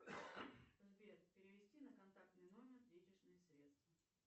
сбер перевести на контактный номер денежные средства